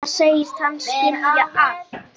Nú segist hann skilja allt.